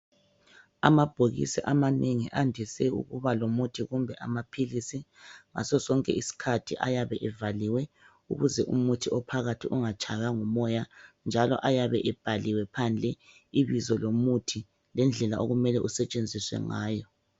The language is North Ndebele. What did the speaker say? Amabhokisi amanengi andise ukuba lomuthi kumbe lamaphilisi ngasosonke isikhathi ayabe evaliwe ukuze umuthi ophakathi ungatshaywa ngumoya njalo ayabe ebhaliwe phandle ibizo lomuthi lendlela okumele usetshenziswe ngayo